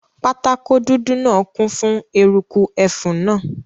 Pátákó dúdú náà kún fún eruku ẹfun náà